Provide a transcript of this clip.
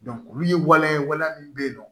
olu ye waliya ye waliya min bɛ yen nɔ